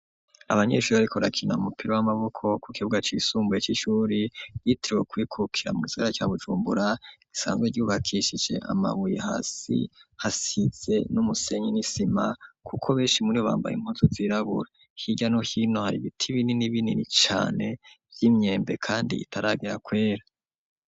Abanyeshure ariko brakina umupira w'amaboko ku kibuga c'isumbuye c'ishuri yiteriwe kubikukira mu zira ca bujumbura isanzwe ryubakishije amabuyi hasi hasize n'umusenyi n'isima kuko benshi muri bambaye impoto zirabura higa no hino hari ibiti binini binini cane vy'imyembe kandi itaragera kwera.